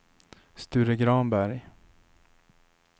Sture Granberg